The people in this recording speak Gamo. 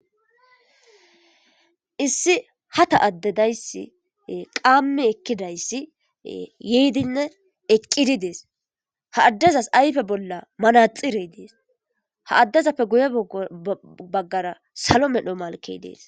Issi ha ta addedayssi qamme ekkidayssi yiidinne eqqidi dees ha addezas ayfe bolla manaxirey dees ha addezappe guye baggara salo medho malke dees.